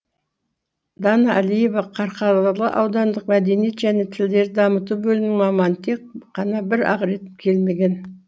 дана әлиева қарқаралы аудандық мәдениет және тілдерді дамыту бөлімінің маманы тек қана бір ақ рет келмеген